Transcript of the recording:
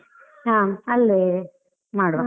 ಹಾ, ಅಲ್ಲೇ ಮಾಡುವ.